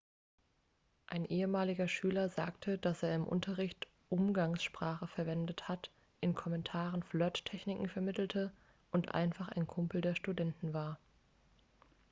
ein ehemaliger schüler sagte dass er im unterricht umgangssprache verwendet hat in kommentaren flirttechniken vermittelte und einfach ein kumpel der studenten war